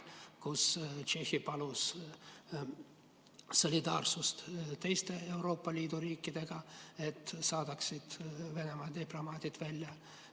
Tšehhi palus teistelt Euroopa Liidu riikidelt solidaarsust, et nad saadaksid Venemaa diplomaadid välja.